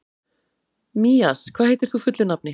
Mías, hvað heitir þú fullu nafni?